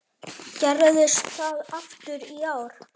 Gerðist það aftur í ár.